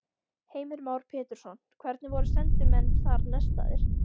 Heimir Már Pétursson: Hvernig voru sendimenn þar nestaðir?